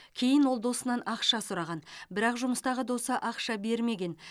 кейін ол досынан ақша сұраған бірақ жұмыстағы досы ақша бермеген